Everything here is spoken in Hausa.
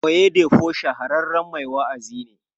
Oyedepo shahararren mai wa'azi ne.